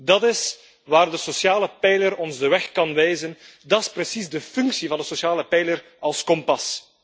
Dat is waar de sociale pijler ons de weg kan wijzen. Dat is precies de functie van de sociale pijler als kompas.